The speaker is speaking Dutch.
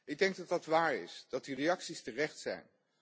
Ik denk dat dat waar is, dat die reacties terecht zijn.